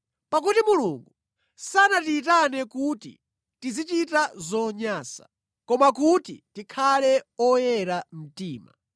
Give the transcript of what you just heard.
Pakuti Mulungu sanatiyitane kuti tizichita zonyansa, koma kuti tikhale oyera mtima.